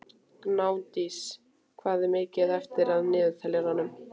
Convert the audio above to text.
Gnádís, hvað er mikið eftir af niðurteljaranum?